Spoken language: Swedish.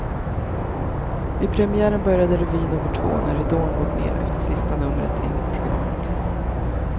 Vid premiären började revy nummer två när ridån gått ner efter sista numret enligt programmet.